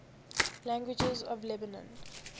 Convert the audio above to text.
languages of lebanon